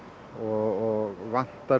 og vantar